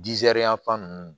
yan fan ninnu